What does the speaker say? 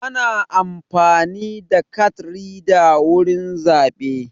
Ana amfani da kat rida wurin zaɓe.